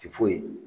Ti foyi